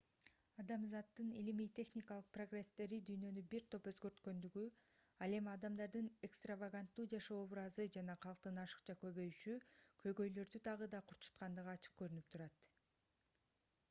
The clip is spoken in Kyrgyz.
адамзаттын илимий-техникалык прогресстери дүйнөнү бир топ өзгөрткөндүгү ал эми адамдардын экстраваганттуу жашоо образы жана калктын ашыкча көбөйүшү көйгөйлөрдү дагы да курчуткандыгы ачык көрүнүп турат